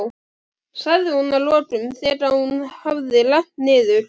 sagði hún að lokum, þegar hún hafði rennt niður.